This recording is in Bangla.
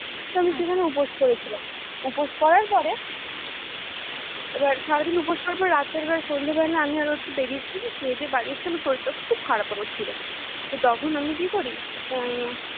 তো আমি সেখানে উপোস করেছিলাম উপোস করার পরে এবার সারাদিন উপোস করার পরে রাতের বেলা সন্ধে বেলা আমি আর ও একটু বেড়িয়েছি খেয়ে দিয়ে বাড়ি এসেছি আমার শরীর টা খুব খারাপ ছিল তো তখন আমি কি করি আহ